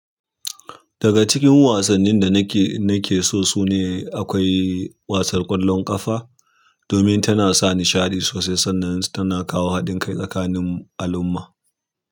Daga cikin wasannin da nake, nake so su ne akwai wasar ƙwallon ƙafa domin tana sa nishaɗi sosai sannan tana kawo haɗin kai tsakanin al'umma.